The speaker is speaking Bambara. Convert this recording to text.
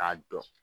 K'a dɔn